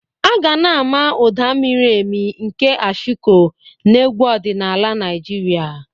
Aga na-ama ụda miri emi nke Ashiko na egwu ọdịnala Naịjirịa.